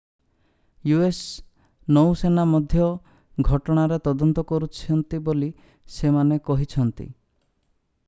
us ନୌସେନା ମଧ୍ୟ ଘଟଣାର ତଦନ୍ତ କରୁଛନ୍ତି ବୋଲି ସେମାନେ କହିଛନ୍ତି